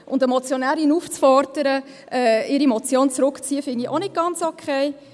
Und eine Motionärin aufzufordern, ihre Motion zurückzuziehen, finde ich auch nicht ganz okay.